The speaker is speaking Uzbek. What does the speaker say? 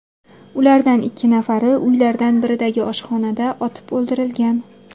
Ulardan ikki nafari uylardan biridagi oshxonada otib o‘ldirilgan.